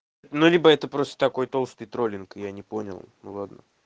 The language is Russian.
ну либо это просто такой толстый троллинг я не понял ну ладно